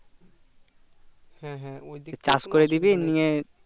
চাষ করে নিবি নিয়ে